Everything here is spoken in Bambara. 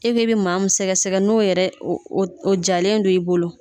E ko e bɛ maa mun sɛgɛsɛgɛ n'o yɛrɛ o o o jalen don i bolo.